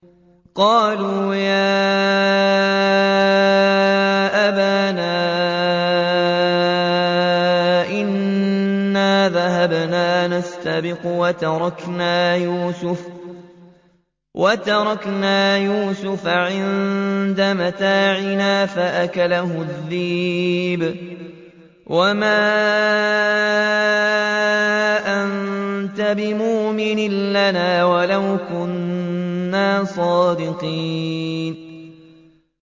قَالُوا يَا أَبَانَا إِنَّا ذَهَبْنَا نَسْتَبِقُ وَتَرَكْنَا يُوسُفَ عِندَ مَتَاعِنَا فَأَكَلَهُ الذِّئْبُ ۖ وَمَا أَنتَ بِمُؤْمِنٍ لَّنَا وَلَوْ كُنَّا صَادِقِينَ